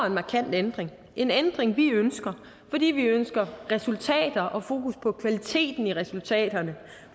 en markant ændring en ændring som vi ønsker fordi vi ønsker resultater og fokus på kvaliteten i resultaterne